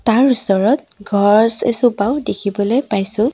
ইয়াৰ ওচৰত গছ এজোপাও দেখিবলৈ পাইছোঁ।